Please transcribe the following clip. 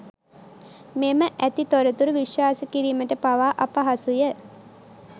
මෙම ඇති තොරතුරු විශවාස කීරීමට පවා අපහසුය.